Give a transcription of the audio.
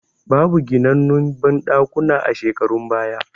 Babu ginannun banɗakuna a shekarun baya